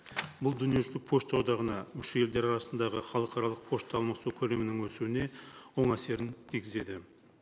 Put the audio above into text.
бұл дүниежүзілік пошта одағына мүше елдер арасындағы халықаралық пошта алмасу көлемінің өсуіне оң әсерін тигізеді